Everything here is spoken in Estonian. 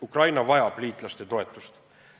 Ukraina vajab liitlaste toetust.